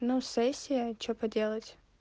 ну сессия что поделать